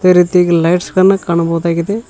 ಅದೇ ರೀತಿಯಾಗಿ ಲೈಟ್ಸ್ ಗಳನ್ನ ಕಾಣಬಹುದಾಗಿದೆ.